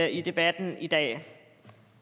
i debatten i dag